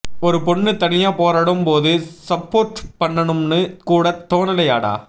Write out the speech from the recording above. ஒரு பொண்ணு தனியா போராடும் போது சப்போர்ட் பண்ணனும்னு கூட தோனலையாடா